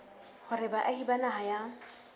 hore baahi ba naha ya